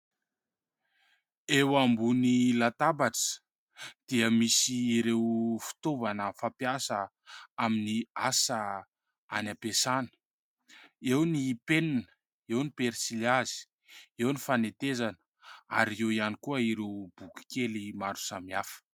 Eo ambony latabatra dia misy ireo fitaovana fampiasa amin'ny asa any ampiasana, eo ny penina, eo ny penisilihazo, eo ny fanetezana ary eo ihany koa ireo boky kely maro samihafa.